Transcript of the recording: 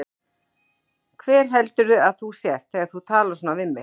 Hver heldurðu að þú sért þegar þú talar svona við mig?